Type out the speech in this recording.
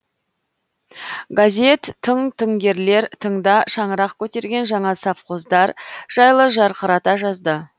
газет тың тыңгерлер тыңда шаңырақ көтерген жаңа совхоздар жайлы жарқырата жазды